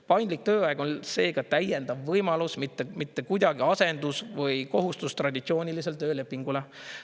Paindlik tööaeg on seega täiendav võimalus, mitte kuidagi asendus või kohustus traditsioonilisele töölepingule.